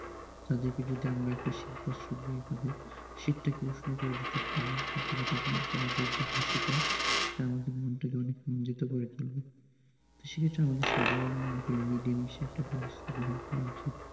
তাদেরকে যদি আমরা একটা শীত বস্ত্র দিয়ে তাদের শীতটাকে উষ্ণ করে দিতে পারি হয়তো বা তাদের তাহাদের যে হাসিটা সেটা আমাদের মনটা অনেক মঞ্জিত করে তুলবে, সে ক্ষেত্রে সবাই মিলেমিশে একটা ব্যবস্থা গ্রহণ করা উচিত।